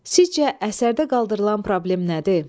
Sizcə əsərdə qaldırılan problem nədir?